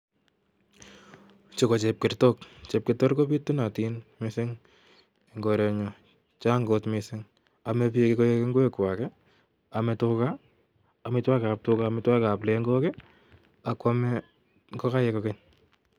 Chuu ko chepkertok chepkertok ko pitunitin missing en korenyun Chang kot missing ome bik koik ingwek Kwak kii ome tugaa, omitwokikab tugaa omitwokikab pleko kii akwome ngokaik kokeny